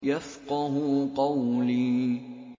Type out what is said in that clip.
يَفْقَهُوا قَوْلِي